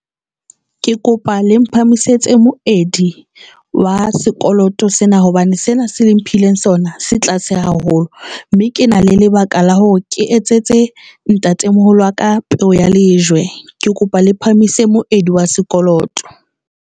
Ke kopa le mphamisetse moedi wa sekoloto sena hobane sena se le mphileng sona se tlase haholo, mme ke na le lebaka la hore ke etsetse ntatemoholo wa ka peo ya lejwe ke kopa le phahamise moedi wa sekoloto.